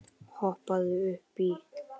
Hoppaðu upp í.